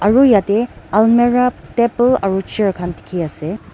aru yatae almera table aru chair khan dikhiase.